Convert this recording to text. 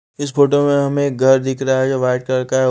इस फोटो में हमें एक घर दिख रहा है जो वाइट कलर का है।